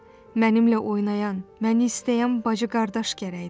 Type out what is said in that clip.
Mənimlə oynayan, məni istəyən bacı-qardaş gərəkdir.